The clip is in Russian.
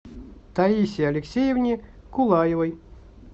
таисе алексеевне кулаевой